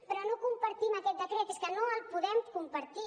però no compartim aquest decret és que no el podem compartir